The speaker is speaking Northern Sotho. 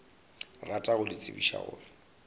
rata go le tsebiša gore